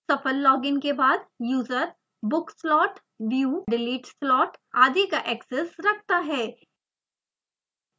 सफल log in के बाद user book slot view/delete slot आदि का एक्सेस रखता है